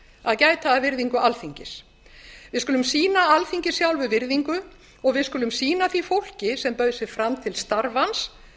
að gæta að virðingu alþingis við skulum sýna alþingi sjálfu virðingu og við skulum sýna því fólki sem bauð sig fram til starfans